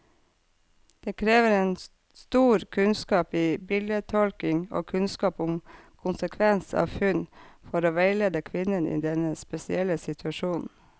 Det krever stor kunnskap i bildetolkning og kunnskap om konsekvens av funn, for å veilede kvinnen i denne spesielle situasjonen.